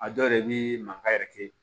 A dɔw yɛrɛ bɛ mankan yɛrɛ kɛ